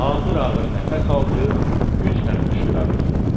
Ağır-ağır nəfəs aldı, güclə qışqıra bildi.